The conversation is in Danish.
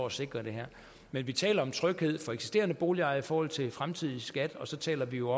at sikre det her men vi taler om tryghed for eksisterende boligejere i forhold til den fremtidige skat og så taler vi jo